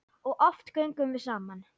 Og oft göngum við saman.